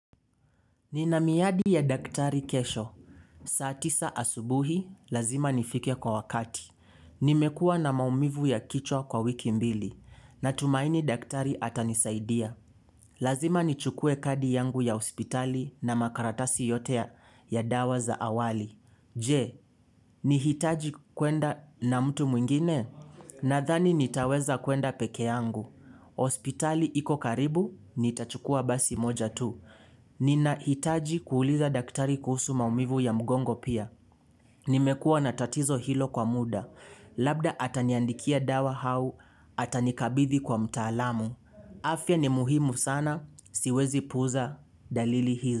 Nina miadi ya daktari kesho. Saa tisa asubuhi, lazima nifike kwa wakati. Nimekua na maumivu ya kichwa kwa wiki mbili. Natumaini daktari atanisaidia. Lazima nichukue kadi yangu ya hospitali na makaratasi yote ya dawa za awali. Je, nahitaji kwenda na mtu mwingine? Nadhani nitaweza kwenda pekee yangu. Hospitali iko karibu, nitachukua basi moja tu. Ninahitaji kuuliza daktari kuhusu maumivu ya mgongo pia. Nimekua na tatizo hilo kwa muda. Labda ataniandikia dawa au, atanikabithi kwa mtaalamu. Afya ni muhimu sana, siwezi puuza dalili hizi.